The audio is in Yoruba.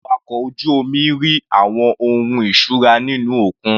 Àwọn awakọ̀ ojú omi rí àwọn ohun ìṣura nínú òkun.